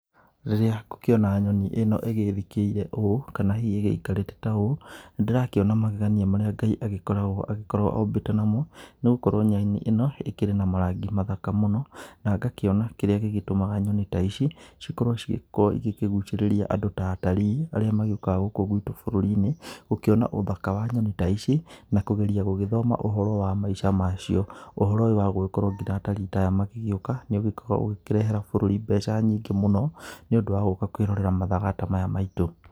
Rĩrĩa ngũkĩona nyoni ĩno ĩgĩthikĩire ũũ, kana hihi ĩgĩikarĩte ta ũũ, nĩndĩrakĩona magegania marĩa Ngai ĩgĩkoragwo agĩkorwo ombĩte namo, nĩgũkorwo nyoni ĩno, ĩkĩrĩ na marangi mathaka mũno, na ngakĩona kĩrĩa gĩgĩtũmaga nyoni ta ici, cikorwo cigĩkorwo igĩkĩgucĩrĩria andũ ta atarii, arĩa magĩũkaga gũkũ gwitũ bũrũri-inĩ, gũkĩona ũthaka wa nyoni ta ici, nakũgeria gũgĩthoma ũhoro wa maica macio. Ũhoro ũyũ wa gũgĩkorwo nginya atarii ta aya magĩgĩũka, nĩũgĩkoragwo ũgĩkĩrehera bũrũri mbeca nyingĩ mũno, nĩũndũ wagũka kwĩrorera mathaga ta maya maitũ.